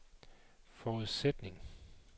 forudsætning